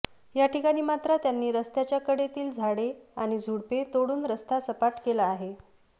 याठिकाणी मात्र त्यांनी रस्त्याच्या कडेतील झाडे आणि झुडपे तोडून रस्ता सपाट केला आहे